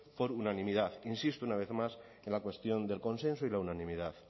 por unanimidad insisto una vez más en la cuestión del consenso y la unanimidad